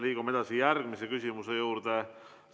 Liigume edasi järgmise küsimuse juurde.